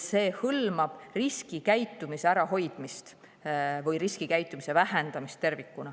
See hõlmab riskikäitumise ärahoidmist või vähemalt riskikäitumise vähendamist.